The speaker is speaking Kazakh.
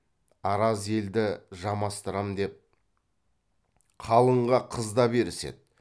араз елді жамастырам деп қалыңға қыз да беріседі